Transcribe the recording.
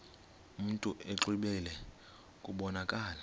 mntu exwebile kubonakala